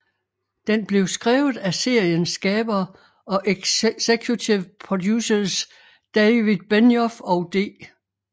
Den blev skrevet af seriens skabere og executive producers David Benioff og D